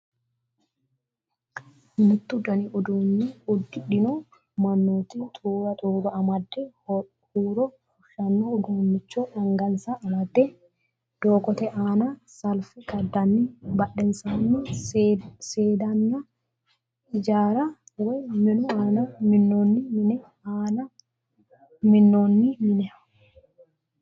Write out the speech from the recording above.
Mittu dani uduunne uddidhino mannooti xuruura xuruura amade huuro fushshanno uduunnicho angansa amade doogote aana salfe kadanninna badhensaanni seeddaanna ijaarra woy minu aana minnoonni minu aana minnoonni mine.